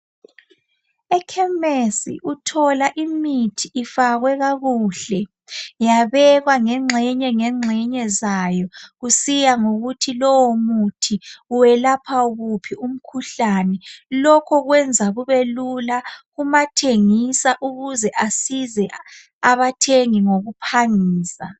Ekhemesi uthola imithi ifakwe kakuhle yabekwa ngengxenye ngengxenye zayo kusiya ngokuthi lowo muthi welapha wuphi umkhuhlane lokho kwenza kubelula kumathengisa ukuze asize abathengi ngokuphangisa.